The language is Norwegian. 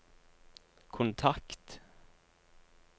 kontakt